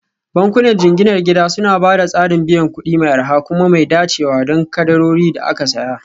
Bankunan jinginar gida suna ba da tsarin biyan kuɗi mai arha kuma mai dacewa don kadarorin da aka saya